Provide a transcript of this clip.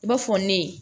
I b'a fɔ ne ye